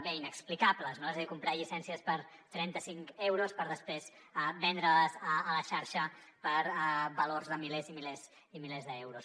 bé inexplicables no és a dir comprar llicències per trenta cinc euros per després vendre les a la xarxa per valors de milers i milers i milers d’euros